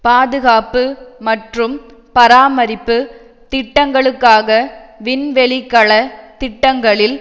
பாதுகாப்பு மற்றும் பராமரிப்பு திட்டங்களுக்காக விண்வெளிக்கல திட்டங்களில்